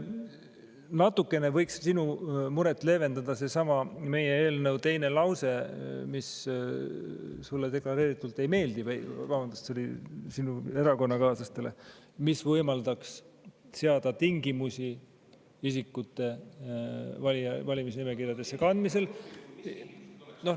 Natukene võiks sinu muret leevendada seesama meie eelnõu teine lause, mis sulle deklareeringuna ei meeldi või, vabandust, sinu erakonnakaaslastele ei meeldi, kuna see võimaldaks seada tingimusi isikute valimisnimekirjadesse kandmisel.